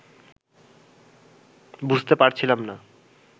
বুঝতে পারছিলাম না